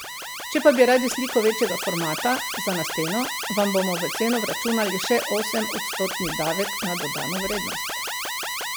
Če pa bi radi sliko večjega formata, za na steno, vam bomo v ceno vračunali še osemodstotni davek na dodano vrednost.